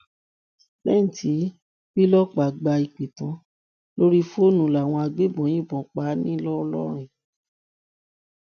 lẹyìn tí bílọpà gba ìpè tán lórí fóònù làwọn agbébọn yìnbọn pa á ńlọ́rọ́rìn